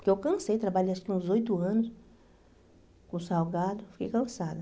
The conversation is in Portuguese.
Porque eu cansei, trabalhei acho que uns oito anos com salgado, fiquei cansada.